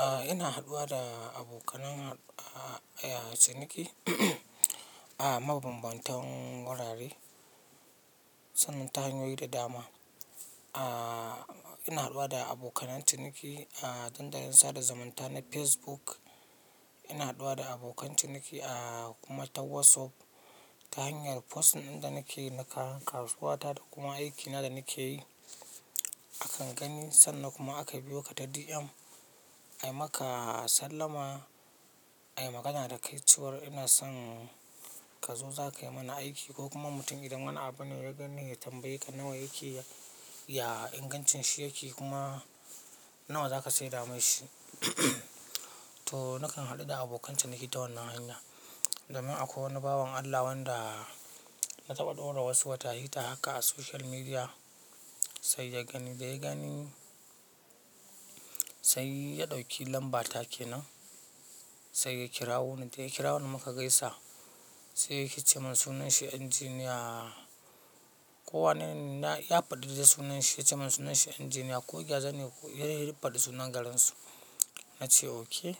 A'a ina haɗuwa da abokanan ah, ciniki, a mabambantan wurare, sannan ta hanyoyi da dama. A'a ina haɗuwa da abokan ciniki a dandalin sada zumunta na Facebook. Ina haɗuwa da abokan ciniki a kuma ta WhatsApp, ta hanyar posts ɗin da nake yi na kayan kasuwa ta da kuma aiki na da nake yi. Akan, sannan kuma aka biyo ka ta DM, ai maka sallama ai magana da kai cewar ina son ka zo za kai mana aiki, ko kuma mutum idan wani abu ne ya gani ya tambaye ka "nawa yake? Ya ingancin shi yake kuma, nawa za ka saida mun shi? To na kan haɗu da abokan ciniki ta wannan hanya. Domin akwai wani bawon Allah wanda, na taɓa ɗora wasu wata hita haka a social media, sai ya gani da ya gani sai ya ɗauki lamba ta kenan, sai ya kirawo ni, da ya kirawo ni muka gaisa, sai yake ce mun sunan shi engineer ko wanene ya faɗi dai sunan shi, ya ce mun sunan shi engineer ko gyaza ne ko, ya de faɗi sunan garin su. Na ce oke,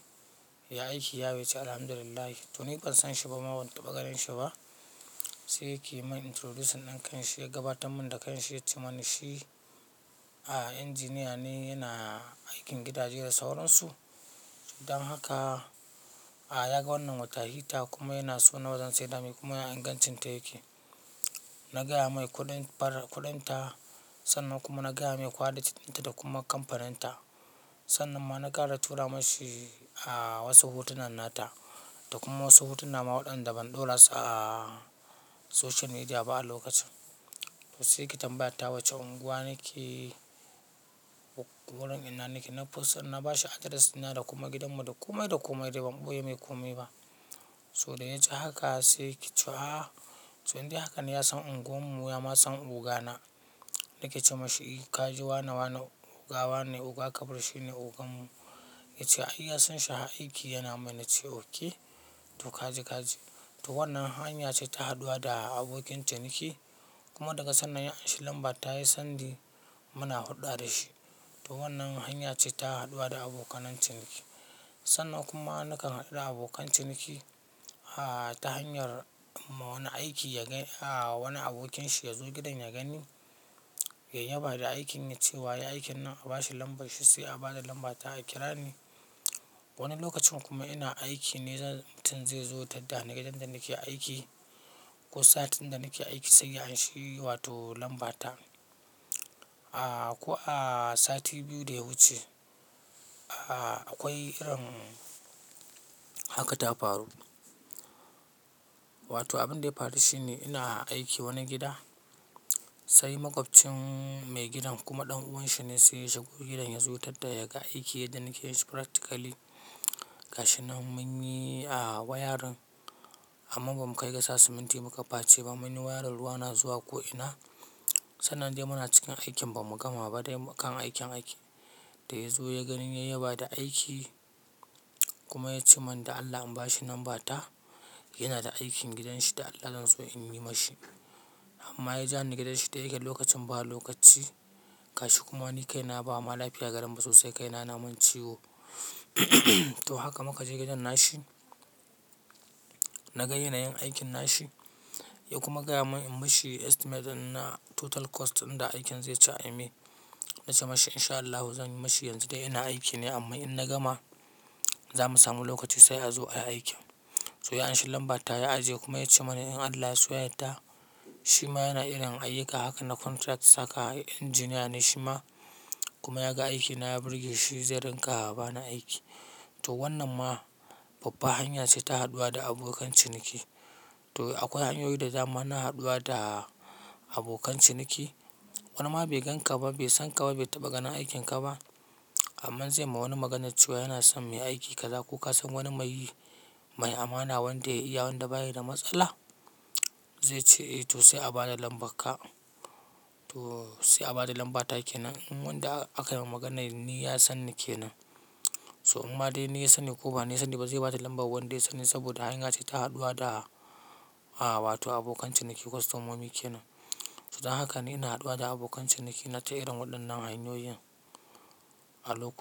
ya aiki ya yau ya ce Alhamdulillah. To ni ban san shi ba ma, ban taɓa ganin shi ba, sai yake min introduction ɗin kanshi, ya gabatar mun da kanshi ya ce mun shi, a engineer ne yana aikin gidaje da sauran su, Dan haka a yaga wannan wata hita, kuma yana so nawa zan saida mai kuma ya ingancin ta yake? Na gaya mai kuɗin fara kuɗin ta, sannan kuma na gaya mai kwalitin ta da kuma kamfanin ta. Sannan ma na ƙara tura mashi, a, wasu hotunan nata, da kuma wasu hotuna ma waɗanda ban ɗora su a, social media ba a lokacin. Sai yake tambaya ta wacce unguwa nake, ko wurin ina nake. Na fussan, na bashi address dina da kuma gidan mu, da komai da komai dai ban ɓoye mai kome ba. So da ya ji haka sai yake cewa, to indai haka ne ya san unguwar mu ya ma san ogana. Na ke ce mashi, ka ji wane wane oga wane, oga kamal shi ne ogan mu. Ya ce ai ya san shi ha aiki yana mai na ce oke. To kaji kaji. To wannan hanya ce ta haɗuwa da abokin ciniki, kuma daga sannan ya anshi lamba ta ya sandi muna hulɗa da shi. To wannan hanya ce ta haɗuwa da abokan ciniki. Sannan kuma na kan haɗu da abokan ciniki, a ta hanyar imma wani aiki ya gani a wani abokin shi ya zo gidan ya gani. Ya yaba da aikin, ya ce "wa yai aikin nan"? A bashi lambar shi, sai a bada lamba ta a kira ni. Wani lokacin kuma ina aiki ne, zan mutum zai zo ya tatta ni gidan da nake aiki, ko satin da nake aiki sai ya anshi wato lamba ta. A, ko a, sati biyu da ya wuce, a akwai irin haka ta faru. Wato abin da ya faru shine ina aiki wani gida, sai maƙwabcin mai gidan, kuma ɗan uwan shi ne sai ya shigo gidan, ya zo ya tadda ya ga aiki yadda nake yin shipractically. Gashi nan mun yi a, wayarin, amma ba mu kai ga sa siminti muka face ba, mun yi wayarin ruwa na zuwa ko ina, sannan dai muna cikin aikin ba mu gama ba dai mukan aikin ake. Da ya zo ya gani ya yaba da aiki, kuma ya ce mun da Allah in bashi namba ta, yana da aikin gidan shi da Allah zanzo in yi ma shi. Amma ya ja ni gidan shi da yake lokacin ba lokaci, kashi kuma ni kai na ba ma lafiya garen ba sosai, kai ya na mun ciwo. To haka muka je gidan nashi, na ga yanayin aikin nashi, ya kuma gaya mun in mushi estimate ɗin na total cost ɗin da aikin zai ci ai mai. Na ce mashi in sha Allahu zan yi mashi yanzu dai ina aiki ne, amma in na gama, za mu samu lokaci sai a zo ayi aikin. To ya anshi lamba ta ya ajiye, kuma ya ce mani in Allah ya so ya yadda, shima yana irin ayyuka haka na contract haka, engineer ne shi ma, kuma ya ga aiki na ya burge shi, zai rinƙa bani aiki. To wannan ma, babba hanya ce ta haɗuwa da abokan ciniki. To akwai hanyoyi da dama na haɗuwa da, abokan ciniki. Wani ma bai gan ka ba, bai sanka ba, bai taɓa ganin aikin ka ba, amma zai ma wani maganar cewa yana son mai aiki ka za ko ka san wani mai yi? Mai amana, wanda ya iya wanda baya da matsala? Zai ce eh, to sai a bada lambar ka, to sai a bada lambar ta kenan, in wanda akai wa magana ni ya sanni takenan. To imma dai ni ya sani ko ba ni ya sani ba, zai bada lambar wanda ya sani saboda hanya ce ta haɗuwa da a wato abokan ciniki, kwastomomi kenan. To dan haka ni ina haɗuwa da abokan ciniki na ta irin waɗannan hanyoyin, a loka.